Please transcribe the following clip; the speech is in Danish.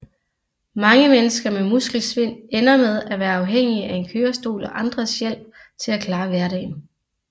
Mange mennesker med muskelsvind ender med af være afhængige af en kørerstol og andres hjælp til at klare hverdagen